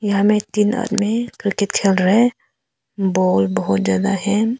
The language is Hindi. यहां में तीन आदमी क्रिकेट खेल रहे हैं बाल बहुत ज्यादा है।